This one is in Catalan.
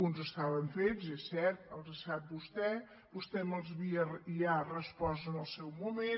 uns estaven fets és cert els sap vostè vostè me’ls havia ja respost en el seu moment